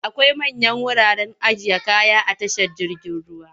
Akwai manyan wuraren ajiye kaya a tashar jirgin ruwa.